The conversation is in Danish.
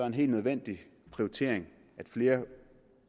en helt nødvendig prioritering at flere